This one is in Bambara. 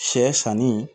Sɛ sanni